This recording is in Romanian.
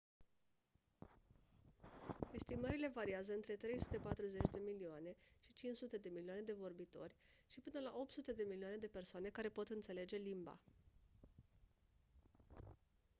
estimările variază între 340 de milioane și 500 de milioane de vorbitori și până la 800 de milioane de persoane care pot înțelege limba